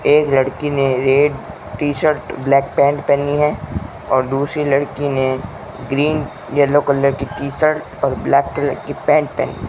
एक लड़की ने red T shirt black pant पहनी है और दूसरी लड़की ने ग्रीन येलो कलर की टी शर्ट और ब्लैक कलर की पेंट पहनी --